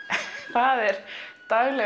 það er daglega